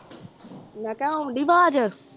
ਮੈਂ ਕਿਹਾ ਆਉਣ ਡਈ ਆਵਾਜ਼